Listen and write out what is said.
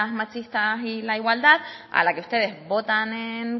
machistas y la igualdad a la que ustedes votan en